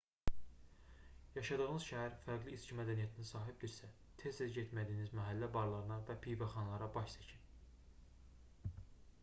yaşadığınız şəhər fərqli içki mədəniyyətinə sahibdirsə tez-tez getmədiyiniz məhəllə barlarına və pivəxanalarına baş çəkin